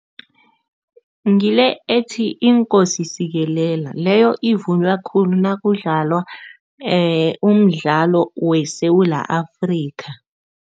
Ngile ethi, iNkosi sikelela. Leyo ivunywa khulu nakudlalwa umdlalo weSewula Afrika.